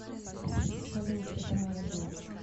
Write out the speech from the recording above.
салют это моя дочь